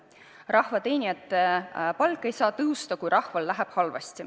Rahvateenijate palk ei saa tõusta, kui rahval läheb halvasti.